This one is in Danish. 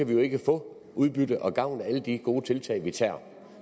vi ikke få udbytte og gavn af alle de gode tiltag vi tager